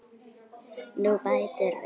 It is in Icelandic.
Hún bætir við.